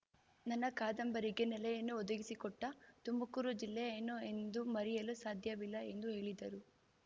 ನನ್ನ ಕಾದಂಬರಿಗೆ ನೆಲೆಯನ್ನು ಒದಗಿಸಿಕೊಟ್ಟ ತುಮಕೂರು ಜಿಲ್ಲೆಯನ್ನು ಎಂದೂ ಮರೆಯಲು ಸಾಧ್ಯವಿಲ್ಲ ಎಂದ ಹೇಳಿದರು